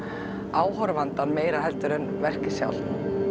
áhorfandann meira heldur en verkið sjálft